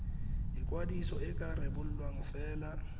ikwadiso e ka rebolwa fela